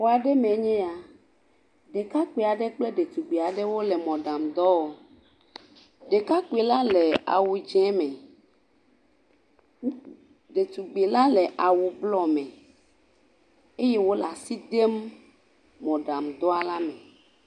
Xɔa aɖe mee nye ya. Ɖekakpui aɖe kple ɖetugbuivi aɖe wole mɔɖaŋudɔ wɔm. Ɖekakpuila le awu dzɛ me, ɖetugbuivila le awu bluɔ me eye wole as idem mɔɖaŋu dɔa le me.